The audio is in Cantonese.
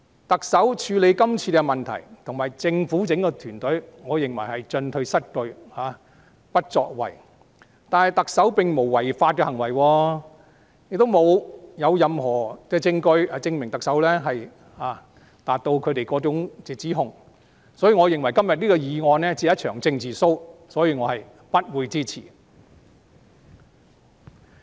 我認為特首和政府整個團隊在處理今次的問題上，只是進退失據和不作為，但特首並無作出違法行為，亦沒有任何證據證明特首符合他們的指控，所以我認為今天的議案只是一場政治 show， 我是不會支持的。